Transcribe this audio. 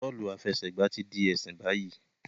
Bọọlu afẹsẹgba ti di ẹsin bayi